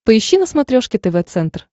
поищи на смотрешке тв центр